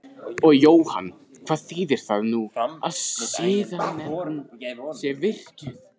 Og Jóhann hvað þýðir það nú að siðanefnd sé virkjuð?